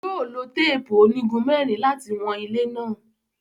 Yóò lo teepu onigun mẹrin lati wọn ile náà